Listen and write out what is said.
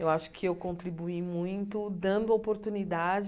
Eu acho que eu contribuí muito dando oportunidade